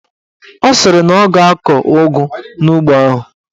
Ọ sịrị na ọ ga-akọ ụgụ n'ugbo ahụ.